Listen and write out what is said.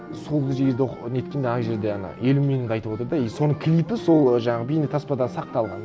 сол жерді неткенде ана жерде ана елім меніңді айтып отыр да и соның клипы сол жаңағы бейнетаспада сақталған